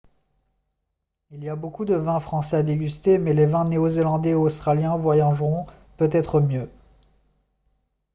il y a beaucoup de vins français à déguster mais les vins néo-zélandais et australiens voyageront peut-être mieux